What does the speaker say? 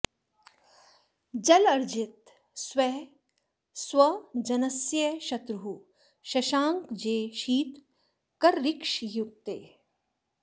जलार्जित स्वः स्व जनस्य शत्रुः शशाङ्कजे शीत करऋक्षयुक्ते